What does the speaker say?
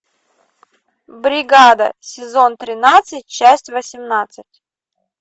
бригада сезон тринадцать часть восемнадцать